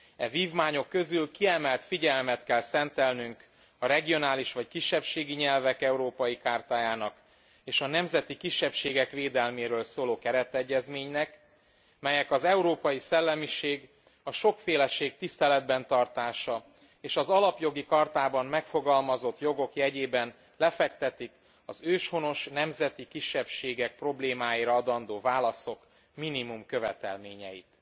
E vívmányok közül kiemelt figyelmet kell szentelnünk a regionális vagy kisebbségi nyelvek európai chartájának, és a nemzeti kisebbségek védelméről szóló keretegyezménynek, melyek az európai szellemiség, a sokféleség tiszteletben tartása és az Alapjogi Chartában megfogalmazott jogok jegyében lefektetik az őshonos nemzeti kisebbségek problémáira adandó válaszok minimumkövetelményeit.